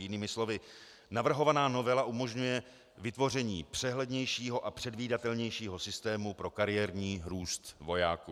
Jinými slovy, navrhovaná novela umožňuje vytvoření přehlednějšího a předvídatelnějšího systému pro kariérní růst vojáků.